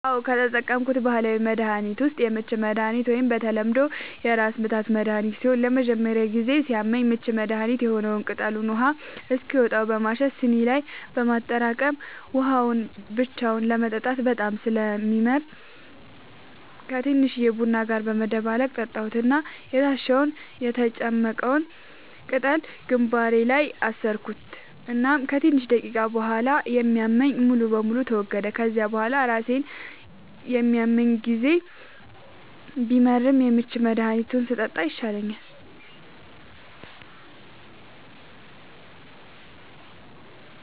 አዎ, ከተጠቀምኩት ባህላዊ መድሀኒት ዉስጥ የምች መድሃኒት ወይም በተለምዶ የራስምታት መድሀኒት ሲሆን ለመጀመሪያ ጊዜ ሲያመኝ የምች መድሀኒት የሆነዉን ቅጠሉን ውሃ እስኪወጣው በማሸት ስኒ ላይ በማጠራቀም የወጣዉን ውሃ ብቻውን ለመጠጣት በጣም ስለሚመር ከቲንሽዬ ቡና ጋር በመደባለቅ ጠጣሁት እና የታሸዉን (የተጨመቀዉን ፈ)ቅጠል ግንባሬ ላይ አሰርኩት እናም ከትንሽ ደቂቃዎች ቡሃላ የሚያመኝ ሙሉ በሙሉ ተወገደ፤ ከዚያ ቡሃላ ራሴን በሚያመኝ ጊዜ ቢመርም የምች መድሃኒቱን ስጠጣ ይሻለኛል።